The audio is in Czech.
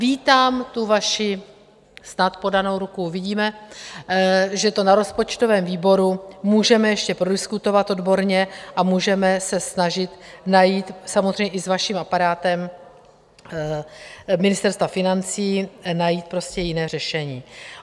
Vítám tu vaši - snad podanou ruku - uvidíme, že to na rozpočtovém výboru můžeme ještě prodiskutovat odborně a můžeme se snažit najít, samozřejmě i s vaším aparátem Ministerstva financí, najít prostě jiné řešení.